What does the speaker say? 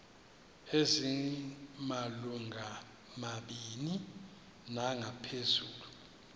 ezimalungu mabini nangaphezulu